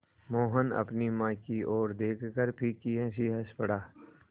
मोहन अपनी माँ की ओर देखकर फीकी हँसी हँस पड़ा